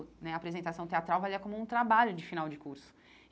né A apresentação teatral valia como um trabalho de final de curso.